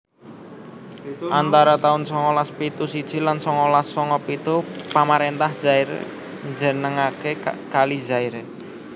Antara taun songolas pitu siji lan songolas songo pitu pamaréntah Zaire njenengaké Kali Zaire